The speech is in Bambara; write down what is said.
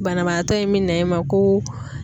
Banabaatɔ in mɛ na i ma ko